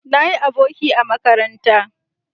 Na yi aboki a makaranta